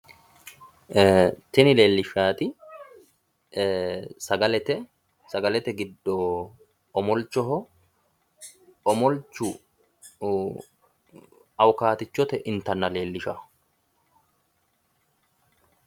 tini leellishshaati sagalete, sagalete giddo omolichoho, omolchu awukaatichotenni intanna leellishshawo.